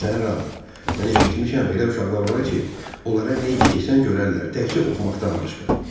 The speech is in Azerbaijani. Bilirsən, Ram, mən eşitmişəm elə uşaqlar var ki, onlara nə iş desən görərlər, təkcə oxumaqdan başqa.